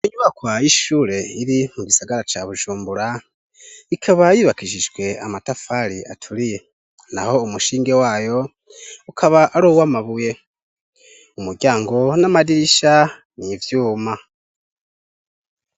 Inyubakwa y'ishure iri mu gisagara ca Bujumbura, ikaba yubakijijwe amatafari aturiye, naho umushinge wayo ukaba ari uw'amabuye. Umuryango n'amadirisha ni ivyuma.